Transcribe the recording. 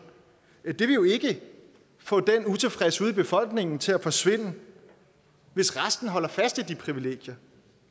vil jo ikke få den utilfredshed i befolkningen til at forsvinde hvis resten holder fast i de privilegier